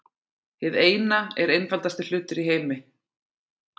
Hið Eina er einfaldasti hlutur í heimi.